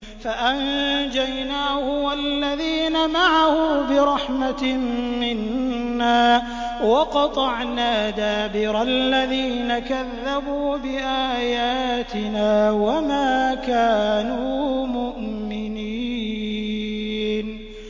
فَأَنجَيْنَاهُ وَالَّذِينَ مَعَهُ بِرَحْمَةٍ مِّنَّا وَقَطَعْنَا دَابِرَ الَّذِينَ كَذَّبُوا بِآيَاتِنَا ۖ وَمَا كَانُوا مُؤْمِنِينَ